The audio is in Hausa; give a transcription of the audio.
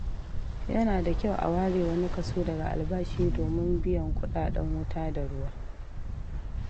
Yana da kyau a ware wani kaso daga albashi domin biyan kuɗaɗen wuta da ruwa.